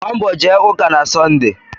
Gbaa mbọ jee ụka na Sọnde.